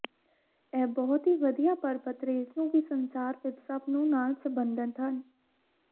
ਇਹ ਬਹੁਤ ਹੀ ਵਧੀਆ ਪਰਬਤ ਰੇਜ਼ ਨੂੰ ਵੀ ਸੰਸਾਰ ਵਿੱਚ ਸਭ ਨੂੰ ਨਾਲ ਸਬੰਧਤ ਹਨ